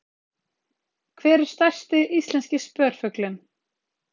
Hver er stærsti íslenski spörfuglinn?